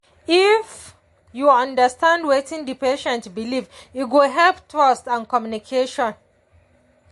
if you understand wetin the patient believe e go help trust and communication.